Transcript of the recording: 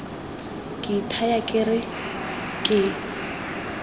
ke ithaya ke re ke